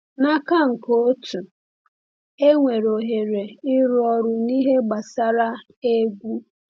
N’aka nke otu, enwere ohere ịrụ ọrụ n’ihe gbasara egwu.